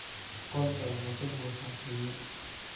Qolka waxaa ka buuxa shinni